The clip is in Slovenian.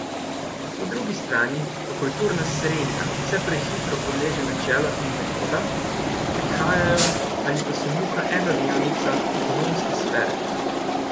Po drugi strani pa kulturna srenja vse prehitro podleže načelom in metodam, ki prihajajo ali pa so muha enodnevnica ekonomske sfere.